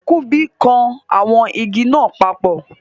Kunbi kan awon igi naa papo